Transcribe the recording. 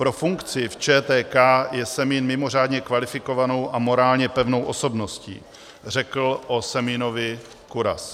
Pro funkci v ČTK je Semín mimořádně kvalifikovanou a morálně pevnou osobností, řekl o Semínovi Kuras.